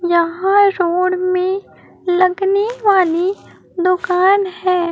यहां रोड में लगने वाली दोकान है।